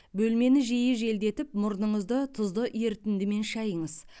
бөлмені жиі желдетіп мұрныңызды тұзды ерітіндімен шайыңыз